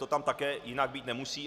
To tam také jinak být nemusí.